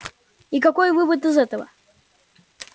и какой вывод из этого